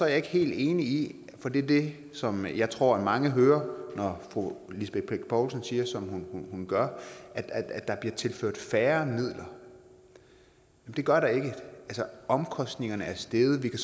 jeg ikke helt enig i for det er det som jeg tror mange hører når fru lisbeth bech poulsen siger som hun gør at der bliver tilført færre midler det gør der ikke altså omkostningerne er steget vi kan